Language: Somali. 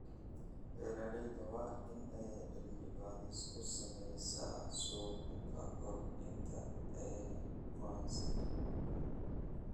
Beeralayda waa in ay cilmi baadhis ku sameeyaan suuqa ka hor inta aanay goosan.